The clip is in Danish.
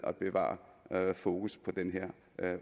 at bevare fokus på den her